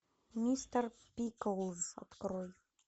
мистер пиклз открой